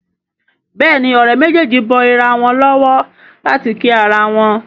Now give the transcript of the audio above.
Béèni Òré méjèjì bó ira wón lówó láti kí àrà wón.